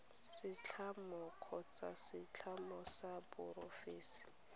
setlamo kgotsa setlamo sa porofense